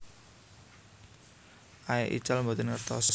Aey ical boten ngertos